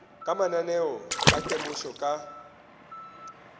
ka mananeo a temošo ka